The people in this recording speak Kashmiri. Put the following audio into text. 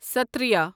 ستتریہَ